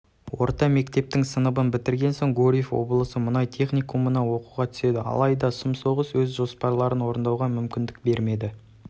орта мектептің сыныбын бітірген соң гурьев облысы мұнай техникумына оқуға түседі алайда сұм соғыс өз жоспарларын орындауға мүмкіндік бермеді